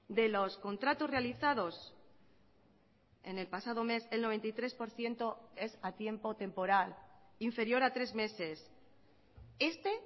de los contratos realizados en el pasado mes el noventa y tres por ciento es a tiempo temporal inferior a tres meses este